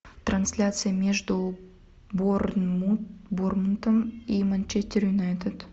трансляция между борнмутом и манчестер юнайтед